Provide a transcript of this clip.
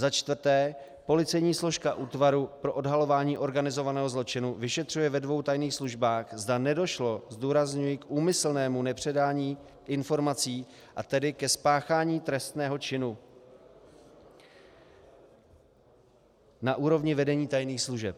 Za čtvrté, policejní složka Útvaru pro odhalování organizovaného zločinu vyšetřuje ve dvou tajných službách, zda nedošlo - zdůrazňuji k úmyslnému - nepředání informací, a tedy ke spáchání trestného činu na úrovni vedení tajných služeb.